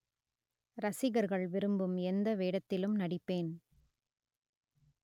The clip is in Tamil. ரசிகர்கள் விரும்பும் எந்த வேடத்திலும் நடிப்பேன்